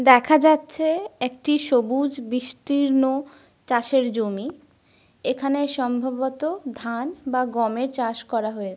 দেখা যাচ্ছে একটি সবুজ বিস্তীর্ণ চাষের জমি। এখানে সম্ভবত ধান বা গমের চাষ করা হয়ে --